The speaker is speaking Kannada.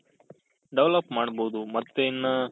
develop ಮಾಡ್ಬೋದು ಮತ್ತೆ ಇನ್ನ